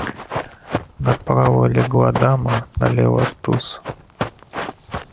направо легла дама налево туз